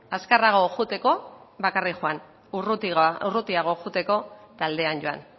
azkarrago joateko bakarrik joan urrutiago joateko taldean joan